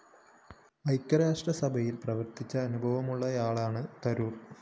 ഐക്യരാഷ്ട്ര സഭയില്‍ പ്രവര്‍ത്തിച്ച അനുഭവമുള്ളയാളാണ് തരൂര്‍